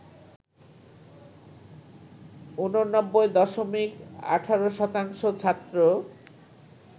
৮৯ দশমিক ১৮ শতাংশ ছাত্র